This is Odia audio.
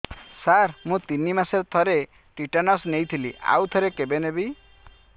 ସାର ମୁଁ ତିନି ମାସରେ ଥରେ ଟିଟାନସ ନେଇଥିଲି ଆଉ ଥରେ କେବେ ନେବି